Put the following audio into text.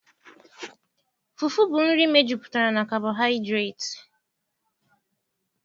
Fufu bu nri mejupụtara na kabohidreti